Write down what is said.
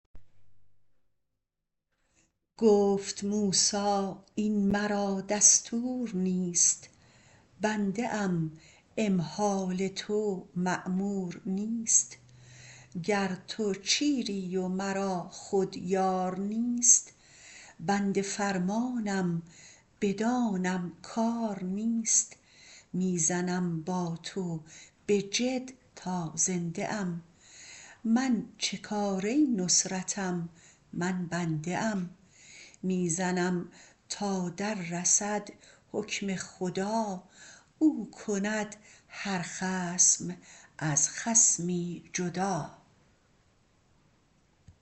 گفت موسی این مرا دستور نیست بنده ام امهال تو مامور نیست گر تو چیری و مرا خود یار نیست بنده فرمانم بدانم کار نیست می زنم با تو بجد تا زنده ام من چه کاره نصرتم من بنده ام می زنم تا در رسد حکم خدا او کند هر خصم از خصمی جدا